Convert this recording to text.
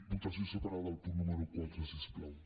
votació separada del punt número quatre si us plau